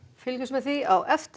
fylgjumst með því á eftir